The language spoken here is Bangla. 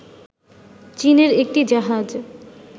চীনের একটি জাহাজ